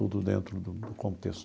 Tudo dentro do do contexto.